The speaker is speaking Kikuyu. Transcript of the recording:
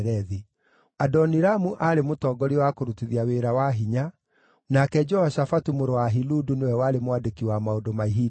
Adoniramu aarĩ mũtongoria wa kũrutithia wĩra wa hinya; nake Jehoshafatu mũrũ wa Ahiludu nĩwe warĩ mwandĩki wa maũndũ ma ihinda rĩu;